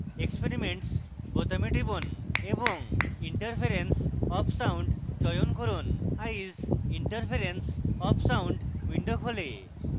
experiments বোতামে টিপুন এবং interference of sound চয়ন করুন eyes: interference of sound window খোলে